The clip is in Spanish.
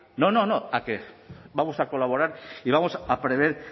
no no no a que vamos a colaborar y vamos a prever